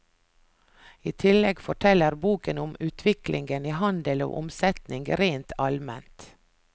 I tillegg forteller boken om utviklingen i handel og omsetning rent alment.